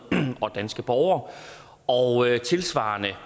og danske borgere og tilsvarende